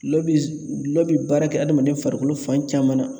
Gɔlɔ bi gulɔ bi baara kɛ adamaden farikolo fan caman na0.